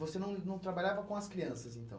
Você não não trabalhava com as crianças, então?